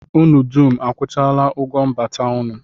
Unu dum akwụchaala ụgwọ mbata unu?